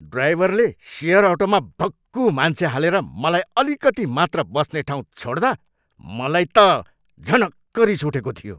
ड्राइभरले सेयर अटोमा भक्कु मान्छे हालेर मलाई अलिकती मात्र बस्ने ठाउँ छोड्दा मलाई त झनक्क रिस उठेको थियो।